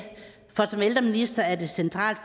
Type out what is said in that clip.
for som ældreminister er det centralt